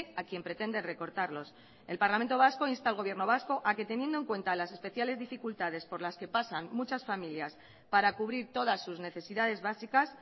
a quien pretende recortarlos el parlamento vasco insta al gobierno vasco a que teniendo en cuenta las especiales dificultades por las que pasan muchas familias para cubrir todas sus necesidades básicas